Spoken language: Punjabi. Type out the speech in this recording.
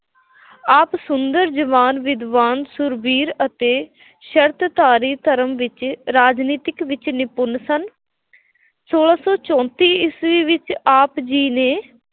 ਆਪ ਸੁੰਦਰ, ਜਵਾਨ, ਵਿਦਵਾਨ, ਸੂਰਬੀਰ ਅਤੇ ਸ਼ਸ਼ਤਰਧਾਰੀ, ਧਰਮ ਵਿੱਚ, ਰਾਜਨੀਤਿਕ ਵਿੱਚ ਨਿਪੁੰਨ ਸਨ। ਸੋਲਾਂ ਸੌ ਚੌਂਤੀ ਈਸਵੀ ਵਿੱਚ ਆਪ ਜੀ ਨੇ